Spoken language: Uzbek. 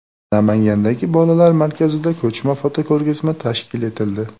Namangandagi bolalar markazida ko‘chma fotoko‘rgazma tashkil etildi.